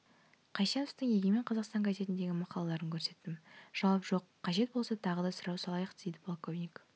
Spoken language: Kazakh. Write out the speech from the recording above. қайсеновтың егемен қазақстан газетіндегі мақалаларын көрсеттім жауап жоқ қажет болса тағы да сұрау салайық дейді полковник